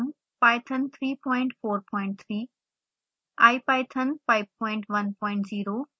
python 343 ipython 510